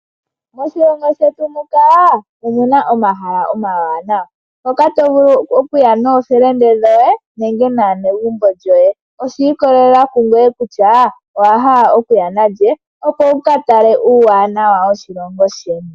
Moshilongo shetu muka omuna omahala omawanawa hoka to vulu okuya noofelende dhoye nenge naanegumbo lyoye oshi ikolelela kungweye kutya owa hala okuya nalye wu katale uuwanawa woshilongo sheni.